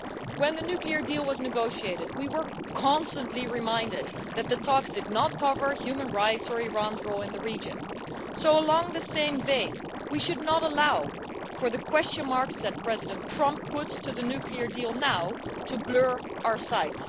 When the nuclear deal was negotiated, we were constantly reminded that the talks did not cover human rights or Iran's role in the region, so along the same vein we should not allow for the question marks that President Trump puts to the nuclear deal now to blur our sight.